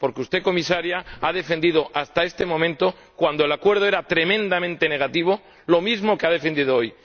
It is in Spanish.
Porque usted, Comisaria, ha defendido hasta este momento, cuando el Acuerdo era tremendamente negativo, lo mismo que ha defendido hoy.